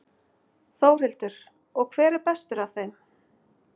Þórhildur: Og hver er bestur af þeim?